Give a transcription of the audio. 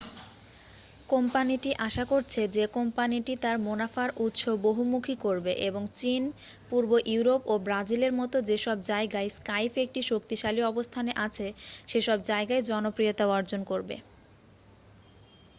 কোম্পানিটি আশা করছে যে কোম্পানিটি তার মুনাফার উৎস বহুমুখী করবে এবং চীন, পূর্ব ইউরোপ ও ব্রাজিলের মতো যেসব জায়গায় স্কাইপ একটি শক্তিশালী অবস্থানে আছে সেসব জায়গায় জনপ্রিয়তা অর্জন করবে।